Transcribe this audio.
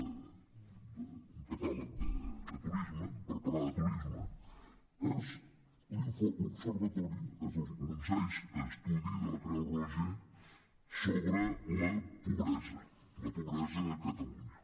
ni un catàleg de turisme per parlar de turisme és l’observatori l’onzè estudi de la creu roja sobre la pobresa bresa a catalunya